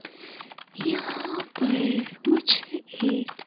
यहां पर मुझे एक--